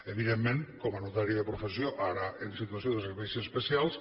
evidentment com a notari de professió ara en situació de serveis especials